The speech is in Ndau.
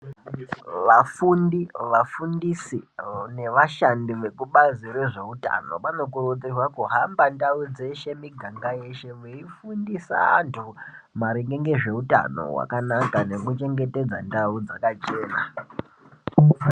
Vafundi, vafundisi nevashandi vekubazi rezveutano vanokurudzirwa kuhamba ndau dzeshe , miganga yeshe veifundisa antu maringe ngezveutano hwakanaka nekuchengetedza ndau dzakachena.